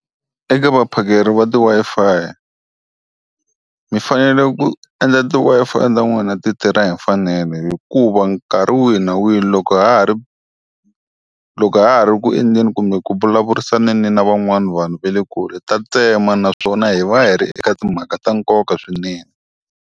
Eke vaphakeri va ti-Wi-Fi mi fanele ku endla ti-Wi-Fi ta n'wina ti tirha hi mfanelo hikuva nkarhi wihi na wihi loko ha ha ri, loko ha ha ri ku endleni kumbe ku vulavurisaneni na van'wana vanhu va le kule ta tsema naswona hi va hi ri eka timhaka ta nkoka swinene.